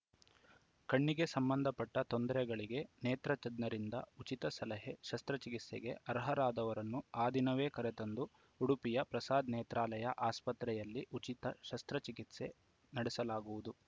ಕಣ್ಣಿಗೆ ಸಂಬಂಧಪಟ್ಟತೊಂದರೆಗಳಿಗೆ ನೇತ್ರ ತಜ್ಞರಿಂದ ಉಚಿತ ಸಲಹೆ ಶಸ್ತ್ರಚಿಕಿತ್ಸೆಗೆ ಅರ್ಹರಾದವರನ್ನು ಆ ದಿನವೇ ಕರೆತಂದು ಉಡುಪಿಯ ಪ್ರಸಾದ್‌ ನೇತ್ರಾಲಯ ಆಸ್ಪತ್ರೆಯಲ್ಲಿ ಉಚಿತ ಶಸ್ತ್ರಚಿಕಿತ್ಸೆ ನಡೆಸಲಾಗುವುದು